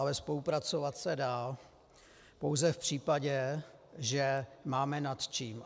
Ale spolupracovat se dá pouze v případě, že máme nad čím.